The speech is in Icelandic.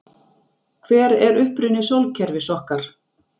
Hver er uppruni sólkerfis okkar?